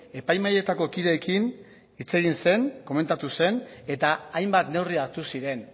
epaimahaietako kideekin hitz egin zen komentatu zen eta hainbat neurri hartu ziren